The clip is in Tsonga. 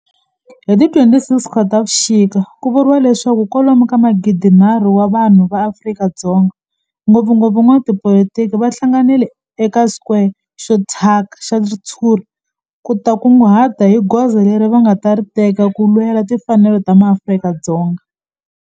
Hi ti 26 Khotavuxika ku vuriwa leswaku kwalomu ka magidi-nharhu wa vanhu va Afrika-Dzonga, ngopfungopfu van'watipolitiki va hlanganile eka square xo thyaka xa ritshuri ku ta kunguhata hi goza leri va nga ta ri teka ku lwela timfanelo ta maAfrika-Dzonga.